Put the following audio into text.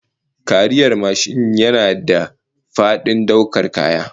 Kariyar mashin yana da fadin daukar kaya